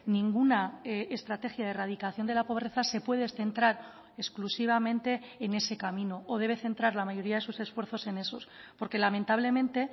ninguna estrategia de erradicación de la pobreza se puede centrar exclusivamente en ese camino o debe centrar la mayoría de sus esfuerzos en esos porque lamentablemente